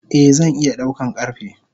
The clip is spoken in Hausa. Eh zan iya daukan karfe.